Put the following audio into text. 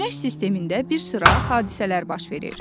Günəş sistemində bir sıra hadisələr baş verir.